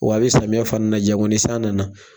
Wa bɛ samiyɛ fana na jango ni san nana